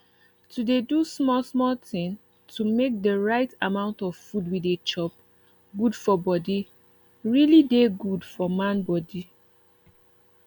to dey do small small tin to make de rite amount of food we dey chop good for body really dey good for man body